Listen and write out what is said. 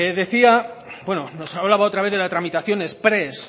nos hablaba otra vez de la tramitación exprés